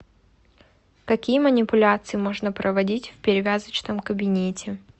какие манипуляции можно проводить в перевязочном кабинете